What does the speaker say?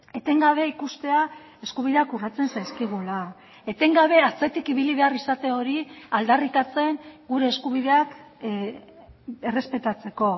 etengabe ikustea eskubideak urratzen zaizkigula etengabe atzetik ibili behar izate hori aldarrikatzen gure eskubideak errespetatzeko